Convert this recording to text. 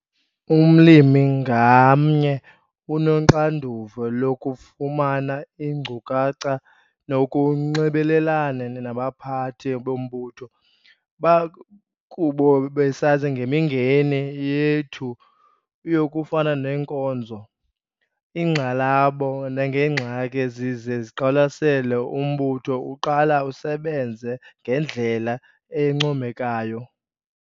Umlimi ngamnye unoxanduva lokufumana iinkcukacha nokunxibelelana nabaphathi bombutho. Bakuba besazi ngemingeni yethu yokufana neenkonzo, iingxalabo nangeengxaki ezize ziqwalasele, umbutho uqala usebenze ngendlela encomekayo.